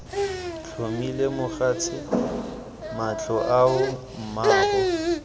tlhomile mogatse matlho ao mmaabo